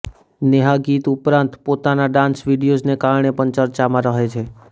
નેહા ગીત ઉપરાંત પોતાના ડાન્સ વીડિયોઝને કારણે પણ ચર્ચામાં રહે છે